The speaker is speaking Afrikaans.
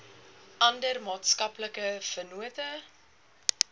ander maatskaplike vennote